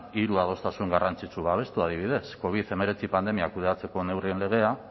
hiru adostasun garrantzitsu babestu adibidez covid hemeretzi pandemiak kudeatzeko neurrien legea